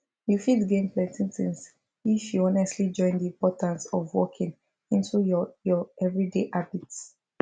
you fit gain plenty things if you honestly join the importance of walking into your your everyday habits